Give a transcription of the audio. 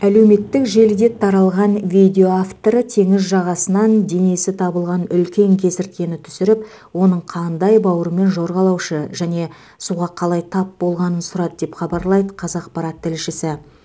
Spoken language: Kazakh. әлеуметтік желіде таралған видео авторы теңіз жағасынан денесі табылған үлкен кесірткені түсіріп оның қандай бауырмен жорғалаушы және суға қалай тап болғанын сұрады деп хабарлайды қазақпарат тілшісі